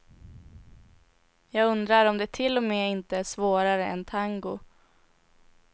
Jag undrar om det till och med inte är svårare än tango.